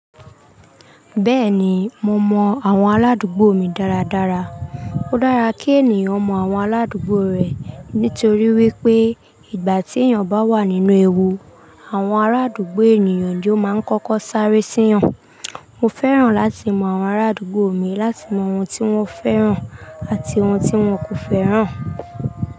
Bẹ́ẹ̀ni, mo mọ àwọn ará adùgbò mi dáradára. Ó dára kí ènìyàn mọ àwọn ará adúgbò rẹ̀ nítorí wípé ìgbà tí èèyàn bá wà nínú ewu, àwọn ará àdúgbò èniyàn ni ó máa ń kọ́kọ́ sáré sí yan. Mo fẹ́ràn láti mọ àwọn ará àdúgbò mi, láti mọ oun tí wọ́n fẹ́ràn àti oun tí wọn kò fẹ́ràn.